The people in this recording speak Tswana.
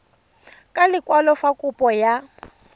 ka lekwalo fa kopo ya